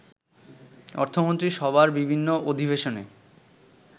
অর্থমন্ত্রী সভার বিভিন্ন অধিবেশনে